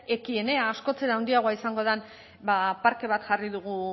ekienea askoz ere handiagoa izango den parke bat jarri dugu